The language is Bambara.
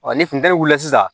ni funteni wulila sisan